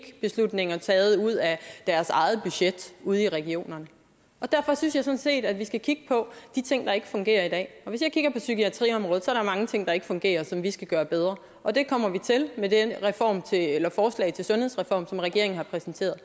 beslutninger taget ud af deres eget budget ude i regionerne derfor synes jeg sådan set at vi skal kigge på de ting der ikke fungerer i dag hvis jeg kigger på psykiatriområdet der er mange ting der ikke fungerer som vi skal gøre bedre og det kommer vi til med det forslag til sundhedsreform som regeringen har præsenteret